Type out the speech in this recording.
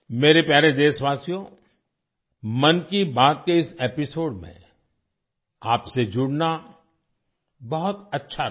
मेरे प्यारे देशवासियो 'मन की बात' के इस एपिसोड में आपसे जुड़ना बहुत अच्छा रहा